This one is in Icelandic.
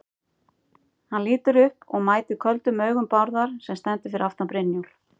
Hann lítur upp og mætir köldum augum Bárðar sem stendur fyrir aftan Brynjólf.